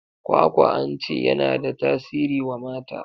Kwakwa an ce ya na da tasiri wa mata.